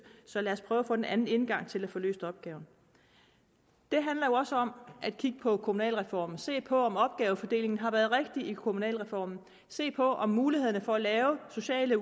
så lad os prøve at få en anden indgang til at få løst opgaven det handler jo også om at kigge på kommunalreformen se på om opgavefordelingen har været rigtig i kommunalreformen se på om mulighederne for at lave sociale